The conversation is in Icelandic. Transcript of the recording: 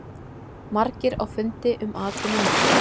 Margir á fundi um atvinnumál